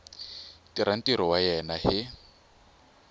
tirha ntirho wa yena hi